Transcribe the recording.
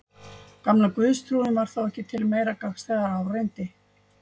Gamla guðstrúin var þá ekki til meira gagns þegar á reyndi.